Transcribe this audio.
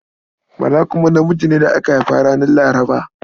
Bala kuma namiji ne da aka haifa ranar Laraba.